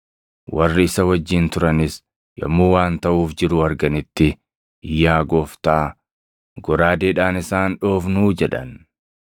Warri isa wajjin turanis yommuu waan taʼuuf jiru arganitti, “Yaa Gooftaa, goraadeedhaan isaan dhoofnuu” jedhan.